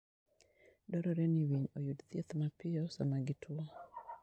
Dwarore ni winy oyud thieth mapiyo sama gituwo.